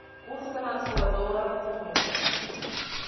курс канадского доллара к фунту